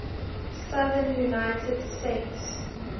southern united states